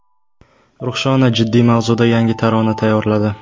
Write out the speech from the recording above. Ruxshona jiddiy mavzuda yangi tarona tayyorladi.